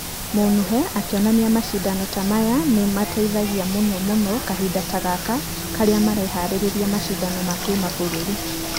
Munuhe akĩonania mashidano ta maya nĩ ĩteithagia mũno mũno kahinda ta gaka karĩa marĩharĩria mashidano na kĩmabũrũri.